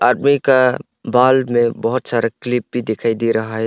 आदमी का बाल में बहोत सारा क्लिप भी दिखाई दे रहा है।